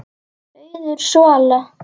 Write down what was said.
Auður Svala.